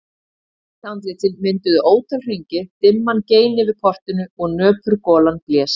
Hvít andlitin mynduðu ótal hringi, dimman gein yfir portinu og nöpur golan blés.